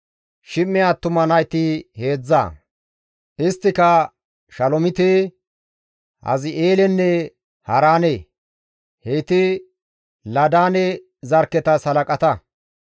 Shim7e attuma nayti heedzdza; isttika Shalomite, Hazi7eelenne Haaraane; heyti Laadaane zarkketas halaqata.